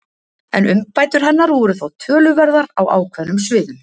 En umbætur hennar voru þó töluverðar á ákveðnum sviðum.